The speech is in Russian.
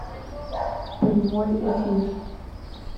прямой эфир